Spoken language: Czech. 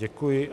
Děkuji.